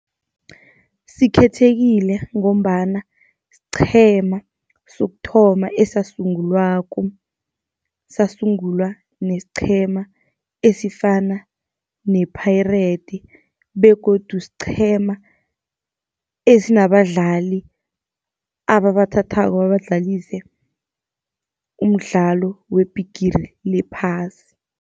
Sikhethekile ngombana siqhema sokuthoma esasungulwako, sasungulwa nesiqhema esifana ne-Pirate. Begodu siqhema esinabadlali ababathathako babadlalise umdlalo weBhigiri lePhasi.